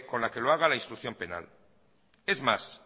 con la que lo haga la instrucción penal es más